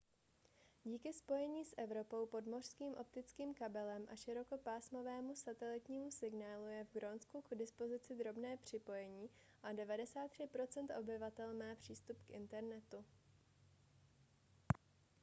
díky spojení s evropou podmořským optickým kabelem a širokopásmovému satelitnímu signálu je v grónsku k dispozici dobré připojení a 93 % obyvatel má přístup k internetu